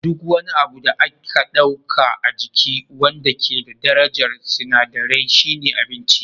Duk wani abu da aka ɗauka a jiki wanda ke da darajar sinadirai shine abinci